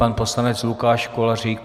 Pan poslanec Lukáš Kolářík.